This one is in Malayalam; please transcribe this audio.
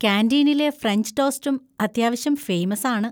കാന്‍റീനിലെ ഫ്രഞ്ച് ടോസ്റ്റും അത്യാവശ്യം ഫേമസ് ആണ്.